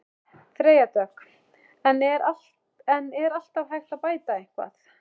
Freyja Dögg: En er alltaf hægt að bæta eitthvað?